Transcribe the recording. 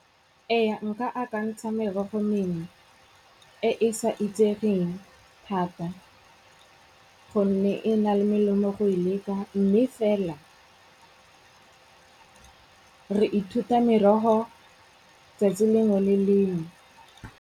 Ee, nka akantsha merogo mengwe e e sa itsegeng thata gonne e na le melemo go e leka mme fela re ithuta meroho 'tsatsi lengwe le lengwe.